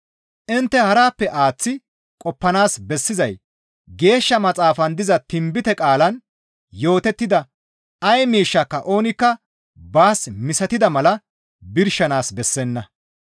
Intte harappe aaththi qoppanaas bessizay Geeshsha Maxaafan diza tinbite qaalaan yootettida ay miishshika oonikka baas misatida mala birshanaas bessenna.